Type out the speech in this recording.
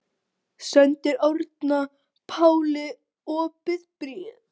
Sendir Árna Páli opið bréf